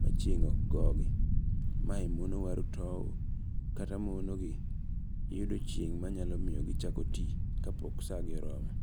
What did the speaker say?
ma chieng' ok go gi. Mae mono waru tow kata mono gi yudo chieng' manyalomiyo gichako ti ka pok sa gi oromo.